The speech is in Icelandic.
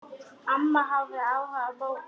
Amma hafði áhuga á bókum.